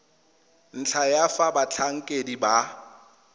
ntlha ya fa batlhankedi ba